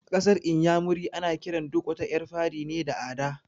A ƙasar inyamurai ana kiran duk wata ƴar fari ne da "Ada"